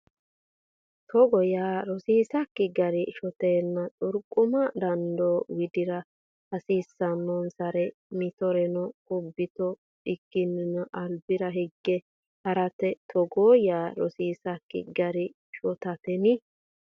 Togo yaa rosiisakki gari shotatenni xurqama dandoo widira hasiisannonsare mittoreno kubbitto a kkinni albira hige ha rate Togo yaa rosiisakki gari shotatenni.